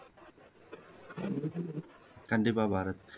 கண்டிப்பா பாரத்